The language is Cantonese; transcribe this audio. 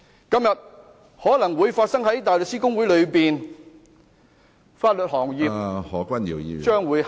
今天可能會在大律師公會內發生，法律行業將會堪虞......